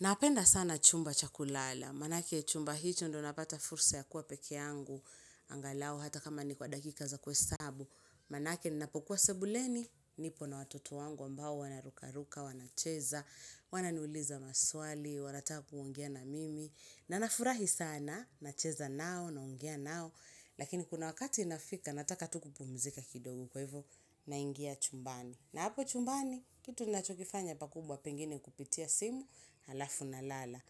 Napenda sana chumba cha kulala, maanake chumba hicho ndo napata fursa ya kuwa peke yangu, angalau hata kama ni kwa dakika za kuhesabu, manake ninapokuwa sebuleni, nipo na watoto wangu ambao wana ruka ruka, wanacheza, wananiuliza maswali, wanataka kuongea na mimi, na nafurahi sana, nacheza nao, naongea nao, lakini kuna wakati inafika, nataka tuku pumzika kidogo kwa hivo, naingia chumbani. Na hapo chumbani, kitu nachokifanya pakubwa pengine kupitia simu, halafu na lala.